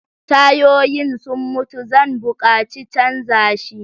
Tayoyin sun mutu Zan buƙaci Canza shi.